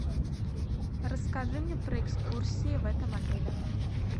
расскажи мне про экскурсии в этом отеле